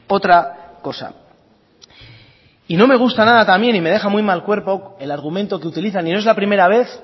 otra cosa y no me gusta nada también y me deja muy mal cuerpo el argumento que utilizan y no es la primera vez